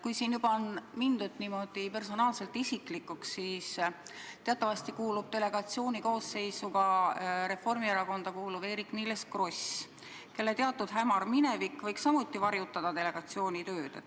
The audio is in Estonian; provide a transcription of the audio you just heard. Kui siin juba on mindud isiklikuks, siis ütlen, et teatavasti kuulub delegatsiooni koosseisu ka Reformierakonda kuuluv Eerik-Niiles Kross, kelle teatud hämar minevik võiks samuti varjutada delegatsiooni tööd.